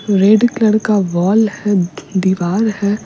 red colour का wall है दीवाल है --